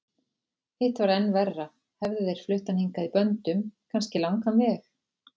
Hitt var enn verra, hefðu þeir flutt hann hingað í böndum, kannski langan veg.